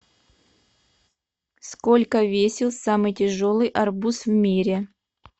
сколько весил самый тяжелый арбуз в мире